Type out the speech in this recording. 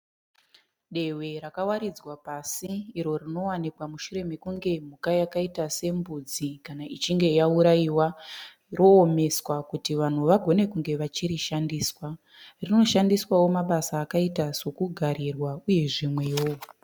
Dehwe rakawaridzwa pasi iro rinowanikwa mushuremekunge mhuka yakaita sembudzi kana ichinge yauraiwa roomeswa kuti vanhu vagone kunge vachirishandisa. Rinoshandiswawo mumabasa akaita sokugarira uye zvimwewo.